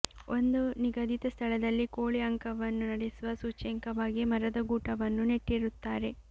ಒಂದು ನಿಗದಿತ ಸ್ಥಳದಲ್ಲಿ ಕೋಳಿ ಅಂಕವನ್ನು ನಡೆಸುವ ಸೂಚ್ಯಂಕವಾಗಿ ಮರದ ಗೂಟವನ್ನು ನೆಟ್ಟಿರುತ್ತಾರೆ